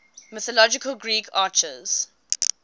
mythological greek archers